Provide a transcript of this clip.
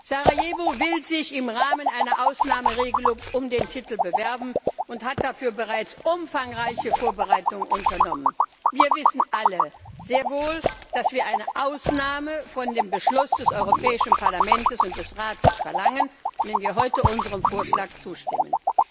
Sarajevo will sich im Rahmen einer Ausnahmeregelung um den Titel bewerben und hat dafür bereits umfangreiche Vorbereitungen unternommen. Wir wissen alle sehr wohl, dass wir eine Ausnahme von dem Beschluss des Europäischen Parlaments und des Rates verlangen, wenn wir heute unserem Vorschlag zustimmen.